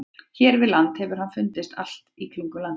Hér við land hefur hann fundist allt í kringum landið.